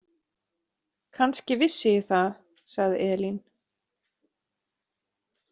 Kannski vissi ég það, sagði Elín.